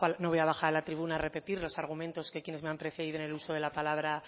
no voy a bajar a la tribuna a repetir los argumentos que quienes me han precedido en el uso de la palabra